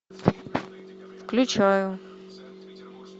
включаю